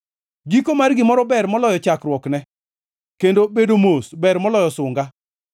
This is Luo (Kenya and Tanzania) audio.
Giko mar gimoro ber moloyo chakruokne kendo bedo mos ber moloyo sunga.